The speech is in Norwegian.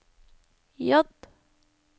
J